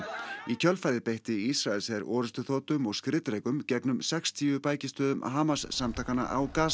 í kjölfarið beitti Ísraelsher orrustuþotum og skriðdrekum gegn um sextíu bækistöðvum Hamas samtakanna á